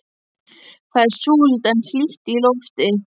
Það er súld en hlýtt í lofti.